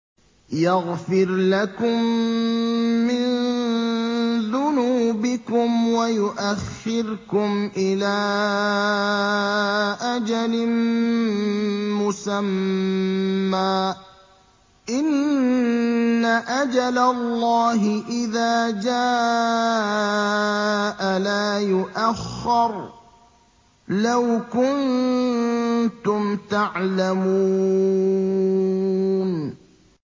يَغْفِرْ لَكُم مِّن ذُنُوبِكُمْ وَيُؤَخِّرْكُمْ إِلَىٰ أَجَلٍ مُّسَمًّى ۚ إِنَّ أَجَلَ اللَّهِ إِذَا جَاءَ لَا يُؤَخَّرُ ۖ لَوْ كُنتُمْ تَعْلَمُونَ